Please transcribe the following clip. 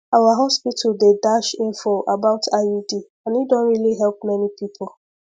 our hospital dey dash info about iud and e don really help many people